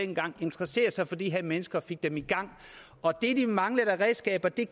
dengang interesserede sig for de her mennesker og fik dem i gang og det de manglede af redskaber gav